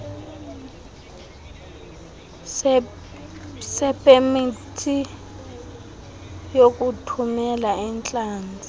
sepemithi yokuthumela iintlanzi